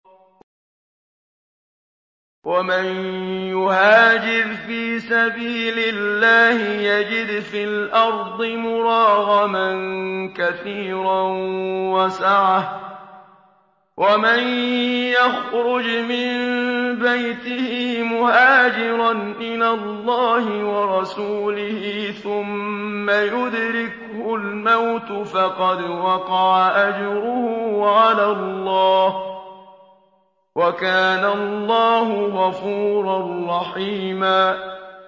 ۞ وَمَن يُهَاجِرْ فِي سَبِيلِ اللَّهِ يَجِدْ فِي الْأَرْضِ مُرَاغَمًا كَثِيرًا وَسَعَةً ۚ وَمَن يَخْرُجْ مِن بَيْتِهِ مُهَاجِرًا إِلَى اللَّهِ وَرَسُولِهِ ثُمَّ يُدْرِكْهُ الْمَوْتُ فَقَدْ وَقَعَ أَجْرُهُ عَلَى اللَّهِ ۗ وَكَانَ اللَّهُ غَفُورًا رَّحِيمًا